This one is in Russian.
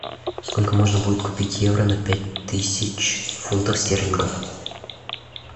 сколько можно будет купить евро на пять тысяч фунтов стерлингов